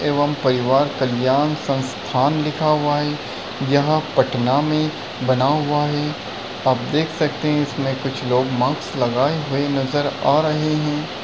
एवम् परिवार कल्याण संस्थान लिखा हुआ है। यहाँ पटना में बना हुआ है। आप देख सकते हैं इसमें कुछ लोग माक्स लगाए हुए नज़र आ रहे हैं।